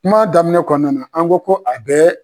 Kuma daminɛ kɔnɔna an ko ko a bɛɛ